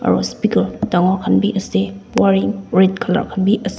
dangor khan bi ase wire red colour khan bi ase.